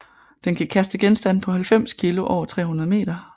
Den kan kaste genstande på 90 kg over 300 m